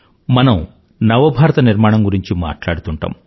మనం నవభారత నిర్మాణం గురించి మాట్లాడుతుంటాం